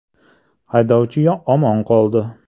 Haydovchi omon qoldi.